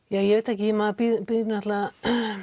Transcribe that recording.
ég veit það ekki maður bindur náttúrulega